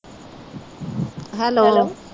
hello